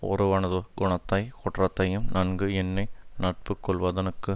ஒருவனது குணத்தை குற்றத்தையும் நன்கு எண்ணி நட்பு கொள்வதனுக்கு